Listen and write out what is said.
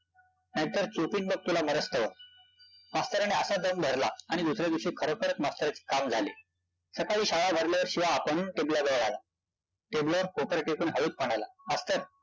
college bus stop ला उतरतो आणि तिकडंन रीक्षा पकडतो कारण की रात्रीचा प्रवास नाय